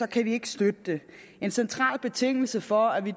kan vi ikke støtte det en central betingelse for at vi